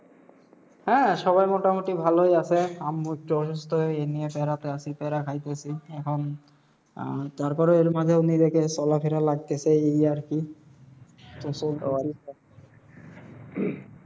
হ্যাঁ সবাই মোটামুটি ভালোই আসে। আম্মু একটু অসুস্থ হয়ে এখন। আহ তারপরে এর মাঝেও নিজেকে চলা ফেরা লাগতেসে এই আর কি